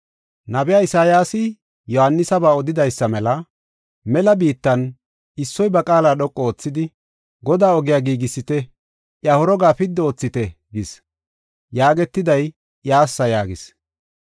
Nabiya Isayaasi Yohaanisaba odidaysa mela, “Mela biittan, issoy ba qaala dhoqu oothidi, ‘Godaa ogiya giigisite. Iya horoga piddi oothite’ gis” yaagetiday iyassa yaagis.